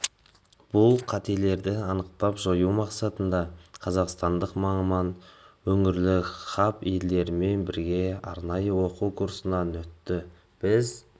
бұл қатерлерді анықтап жою мақсатында қазақстандық маман өңірлік хаб елдерімен бірге арнайы оқу курсынан өтті біз